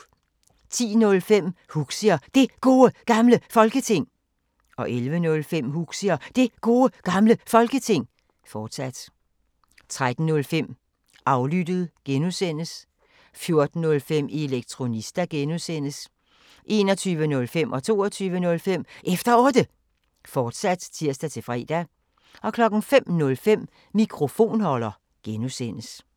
10:05: Huxi og Det Gode Gamle Folketing 11:05: Huxi og Det Gode Gamle Folketing, fortsat 13:05: Aflyttet G) 14:05: Elektronista (G) 21:05: Efter Otte, fortsat (tir-fre) 22:05: Efter Otte, fortsat (tir-fre) 05:05: Mikrofonholder (G)